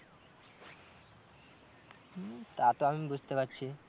উম তা তো আমি বুঝতে পারছি।